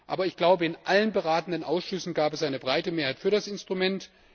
Aber in allen beratenden Ausschüssen gab es eine breite Mehrheit für das Instrument.